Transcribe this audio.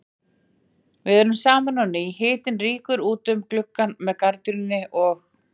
Við erum saman á ný, hitinn rýkur út um gluggann með gardínunni og